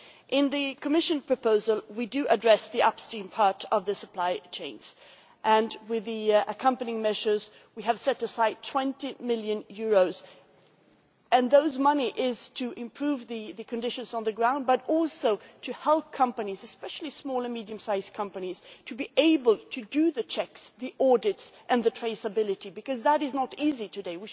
In the Commission proposal we do address the upstream part of the supply chains, and with the accompanying measures we have set aside EUR 20 million this money is to improve the conditions on the ground but also to help companies especially small and medium size companies to be able to do the checks, the audits and the traceability because that is not easy today.